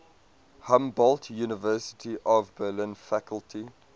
humboldt university of berlin faculty